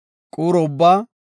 quuro ubbaa